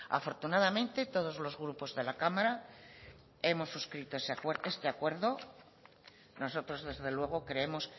afortunadamente todos los grupos de la cámara hemos suscrito ese acuerdo nosotros desde luego creemos